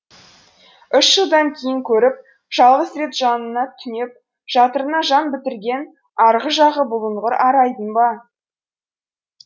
үш жылдан кейін көріп жалғыз рет жанына түнеп жатырына жан бітірген арғы жағы бұлыңғыр арайдың ба